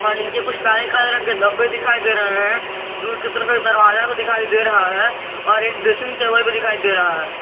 नीचे कुछ काले काले रंग के धब्बे दिखाई दे रहे है दूर की तरफ एक दरवाजा भी दिखाई दे रहा है और एक ड्रेसिंग टेबल भी दिखाई दे रहा है।